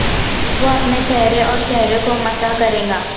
وہ اپنے چہرے اور چہرے کو مسح کرے گا